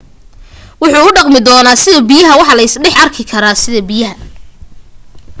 wuxu u dhaqmi doonaa sida biyaha waa la iska dhex arki karaa sida biyaha